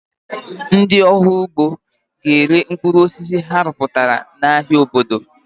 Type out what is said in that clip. Ndị ọrụ ugbo ga-ere mkpụrụ osisi ha rụpụtara n'ahịa obodo.